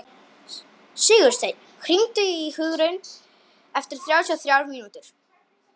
Sigursteinn, hringdu í Hugraun eftir þrjátíu og þrjár mínútur.